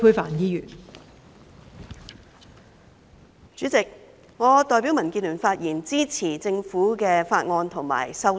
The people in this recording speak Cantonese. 代理主席，我代表民主建港協進聯盟發言，支持政府的法案和修正案。